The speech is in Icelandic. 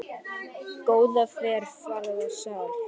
ÚT MEÐ SEGLIÐ!